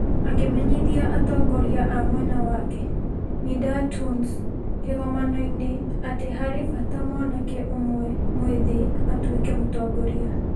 Akĩmenyithia atongoria a mwena wake Nidaa Tounes kĩgomano-inĩ atĩ harĩ bata mwanake ũmwe mwĩthĩ atuĩke mũtongoria.